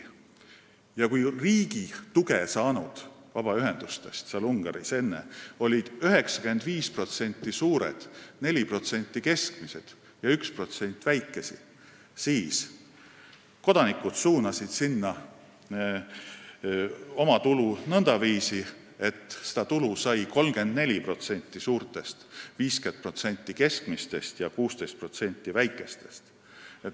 Kui enne olid Ungaris riigilt tuge saanud vabaühendustest 95% suured, 4% keskmised ja 1% väikesed, siis kodanikud suunasid neile oma tulu nõndaviisi, et tuge said 34% suurtest, 50% keskmistest ja 16% väikestest vabaühendustest.